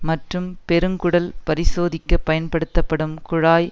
மற்றும் பெருங்குடல் பரிசோதிக்க பயன்படுத்தப்படும் குழாய்